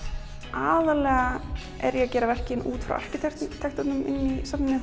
aðallega er ég að gera verkin út frá arkitektúrnum í safninu